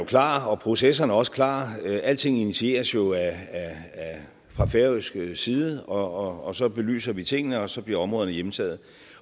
klar og at processerne også er klar alting initieres jo fra færøsk side og så belyser vi tingene og så bliver områderne hjemtaget